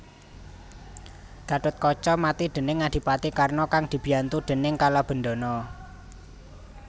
Gathotkaca mati déning Adipati Karna kang dibiyantu déning Kalabendana